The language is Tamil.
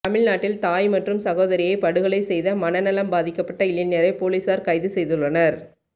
தமிழ்நாட்டில் தாய் மற்றும் சகோதரியை படுகொலை செய்த மனநலம் பாதிக்கப்பட்ட இளைஞரை பொலிசார் கைது செய்துள்ளனர்